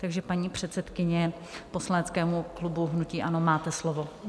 Takže, paní předsedkyně poslaneckého klubu hnutí ANO, máte slovo.